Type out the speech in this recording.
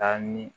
Taa ni